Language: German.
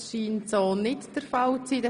– Das scheint nicht der Fall zu sein.